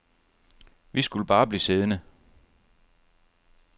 Vi skulle bare blive siddende.